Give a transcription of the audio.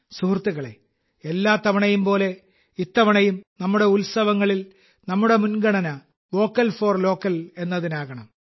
സുഹൃത്തുക്കളെ എല്ലാ തവണയുംപോലെ ഇത്തവണയും നമ്മുടെ ഉത്സവങ്ങളിൽ നമ്മുടെ മുൻഗണന വോക്കൽ ഫോർ ലോക്കൽ എന്നതിനാകണം